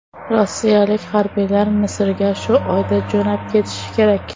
Rossiyalik harbiylar Misrga shu oyda jo‘nab ketishi kerak.